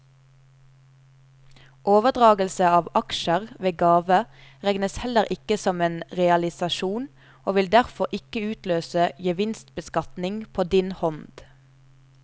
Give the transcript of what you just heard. Overdragelse av aksjer ved gave regnes heller ikke som en realisasjon og vil derfor ikke utløse gevinstbeskatning på din hånd.